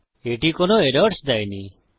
এটি কোনো এরর্স দেয়নি